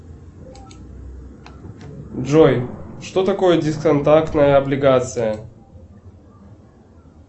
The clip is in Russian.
джой что такое дисконтактная облигация